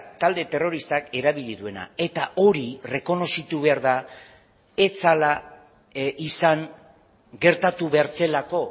talde terroristak erabili duena eta hori errekonozitu behar da ez zela izan gertatu behar zelako